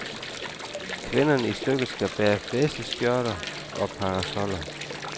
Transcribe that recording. Kvinderne i stykket skal bære flæseskørter og parasoller.